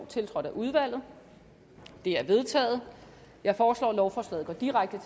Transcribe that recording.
tiltrådt af udvalget det er vedtaget jeg foreslår at lovforslaget går direkte